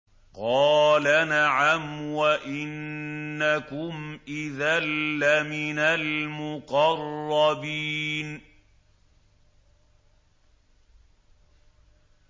قَالَ نَعَمْ وَإِنَّكُمْ إِذًا لَّمِنَ الْمُقَرَّبِينَ